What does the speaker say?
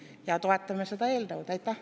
Ja toetame seda eelnõu!